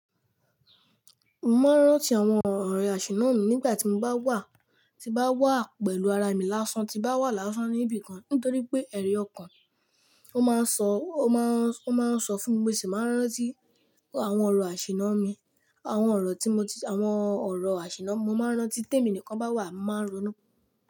Mo máa ń rántí àwọn ọ̀rọ̀ àṣìná mi nígbà tí mo bá wà, tí bá wà pẹ̀lú ara mi lásán, tí bá wà lásán níbi kan. Nítorí pé ẹ̀rí ọkàn, ó máa ń sọ, ó máa ń, ó máa ń sọ fún mi pé ṣé màá rántí àwọn ọ̀rọ̀ àṣìná mi, àwọn ọ̀rọ̀ tí mo ti, àwọn ọ̀rọ̀ àṣìná. Mo máa ń rántí téèmi nìkan bá wà, màá ronú.